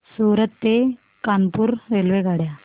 सूरत ते कानपुर रेल्वेगाड्या